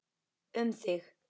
Um þig.